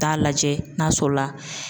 Taa lajɛ n'a sɔrɔ la.